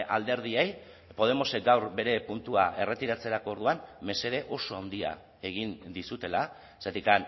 alderdiei podemosek gaur bere puntua erretiratzerako orduan mesede oso handia egin dizutela zergatik